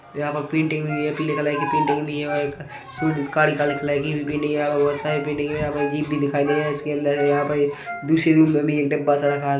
यहाँ पर पेंटिंग हुई है पीले कलर पेंटिंग भी है और एक अ सुन -- काले - काले कलर की भी पेंटिंग है यहाँ पर बहोत सारी पेंटिंग हुई है यहाँ पर जीप भी दिखाई दे रहा है इसके अंदर यहाँ पर ये दूसरे रूम में भी एक डब्बा - सा रखा हैं।